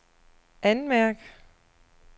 anmærk